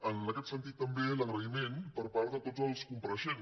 en aquest sentit també l’agraïment a tots els compareixents